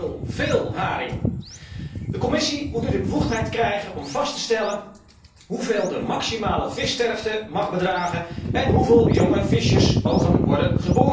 heel veel haring. De Commissie moet nu de bevoegdheid krijgen om vast te stellen hoeveel de maximale vissterfte mag bedragen en hoeveel jonge visjes geboren mogen worden.